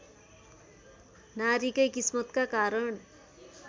नारीकै किस्मतका कारण